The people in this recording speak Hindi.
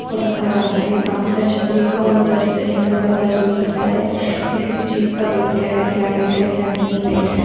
को रखा जाता है। काफ़ी तरह छतरी का होता है जैसे की हमें पता चल पाता है किसी भी चीज का वेट क्या है क्या वेट है क्या नहीं वेट है।